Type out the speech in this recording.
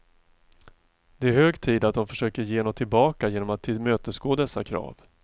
Det är hög tid att de försöker ge något tillbaka genom att tillmötesgå dessa krav.